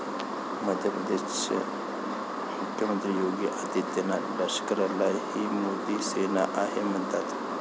मध्य प्रदेशचे मुख्यमंत्री योगी आदित्यनाथ लष्कराला ही मोदी सेना आहे म्हणतात.